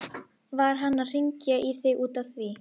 Var hann að hringja í þig út af því?